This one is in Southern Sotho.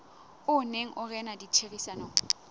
o neng o rena ditherisanong